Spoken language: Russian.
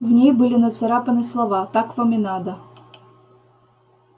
в ней были нацарапаны слова так вам и надо